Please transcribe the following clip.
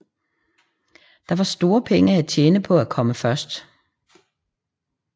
Der var store penge at tjene på at komme først